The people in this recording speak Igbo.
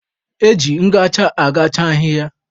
Eji ngacha agacha ahịhịa.